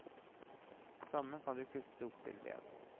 Stammen kan du jo kutte opp til ved.